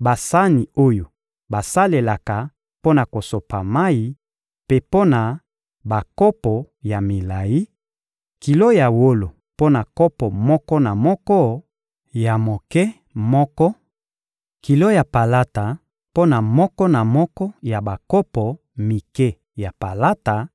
basani oyo basalelaka mpo na kosopa mayi, mpe mpo na bakopo ya milayi; kilo ya wolo mpo na kopo moko na moko ya moke moko; kilo ya palata mpo na moko na moko ya bakopo mike ya palata;